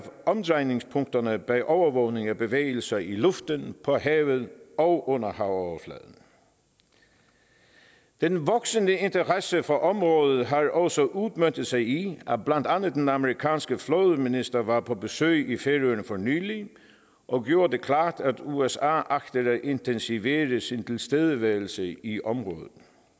omdrejningspunkterne bag overvågning af bevægelser i luften på havet og under havoverfladen den voksende interesse for området har også udmøntet sig i at blandt andet den amerikanske flådeminister var på besøg i færøerne for nylig og gjorde det klart at usa agter at intensivere sin tilstedeværelse i området